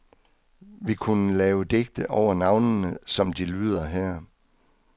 Vi kunne lave digte over navnene, som de lyder her.